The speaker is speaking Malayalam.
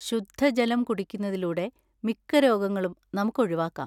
ശുദ്ധജലം കുടിക്കുന്നതിലൂടെ മിക്ക രോഗങ്ങളും നമുക്ക് ഒഴിവാക്കാം.